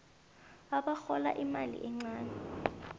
abarhola imali encani